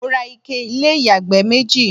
mo ra ike ilé ìyàgbẹ́ méjì